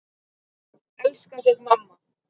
Elska þig, mamma.